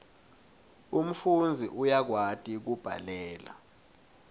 umfundzi uyakwati kubhalela